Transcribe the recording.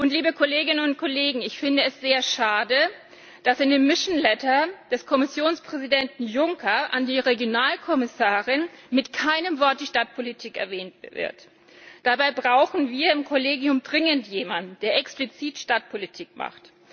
Liebe Kolleginnen und Kollegen, ich finde es sehr schade, dass in dem mission letter des Kommissionspräsidenten Juncker an die Regionalkommissarin mit keinem Wort die Stadtpolitik erwähnt wird. Dabei brauchen wir im Kollegium dringend jemanden, der explizit Stadtpolitik macht.